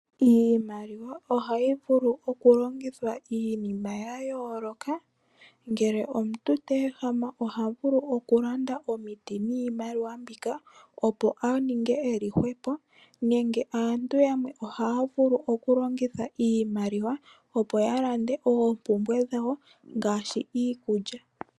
Iimaliwa ohayi vulu oku longithwa iinima ya yooloka, ngele omuntu ya ehama oha vuku oku landa omiti niimaliwa mbyoka, opo a kale eli hwepo nenge aantu yamwe ihaya vulu oku longitha iimaliwa, opo ya lande oompumbwe dhawo ngaashi iikulya.